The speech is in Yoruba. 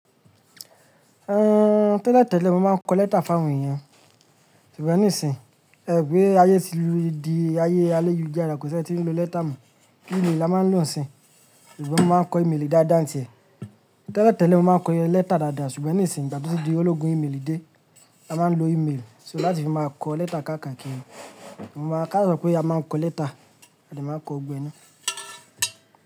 Ehn, tẹ́lẹ̀ tẹ́lẹ̀ mo máa ń kọ lẹ́tà fún àwọn èyàn, ṣùgbọ́n nísìn, ẹ̀wo bi ayé ti lú di ayé aye lujara kò sí ẹni tí ń lo lẹ́tà mọ. Ímélì la máa ń lò sín, ṣùgbọ́n mo máa ń kọ́ ímélì dáadáa tìẹ̀. Tẹ́lẹ̀ tẹ́lẹ̀ mo máa ń kọ lẹ́tà dadá ṣùgbọ́n nísìnyí ìgbà tí ológun ímélì dé, a máa ń lo ímélì láti fi máa kọ lẹ́tà káka kiri. Mo máa ká pé a máa ń kọ lẹ́tà a de máa kọ ọgbẹni.